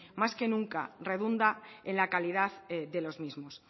más que nunca redunda en la calidad de los mismos